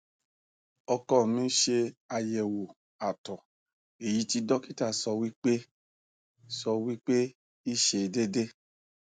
oko mi se ayewo ato eyi ti dokita sowipe i sowipe i se dede